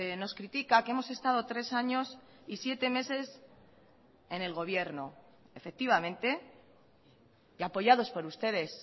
nos critica que hemos estado tres años y siete meses en el gobierno efectivamente y apoyados por ustedes